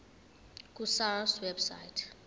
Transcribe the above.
ku sars website